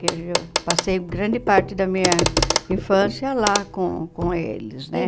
Que eu passei grande parte da minha infância lá com com eles, né?